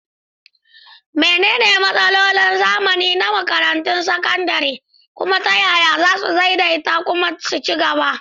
Menene matsalolin zamani na makarantun sakandare, kuma ta yaya za su daidaita kuma su ci gaba?